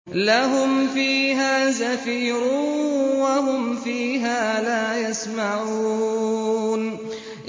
لَهُمْ فِيهَا زَفِيرٌ وَهُمْ فِيهَا لَا يَسْمَعُونَ